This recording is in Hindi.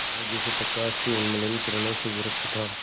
वह जैसे प्रकाश की उन्मलिन किरणों से विरक्त था